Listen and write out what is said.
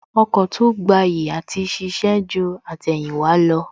Ọkọ̀ tún gbayì àti ṣiṣẹ́ ju àtẹ̀yìnwá lọ